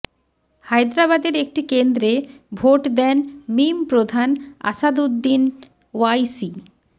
হায়দ্রাবাদের একটি কেন্দ্রে ভোট দেন মিম প্রধান আসাদউদ্দিন ওয়াইসি